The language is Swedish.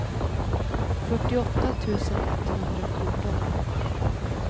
fyrtioåtta tusen etthundrafjorton